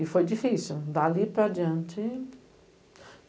E foi difícil, dali para adiante.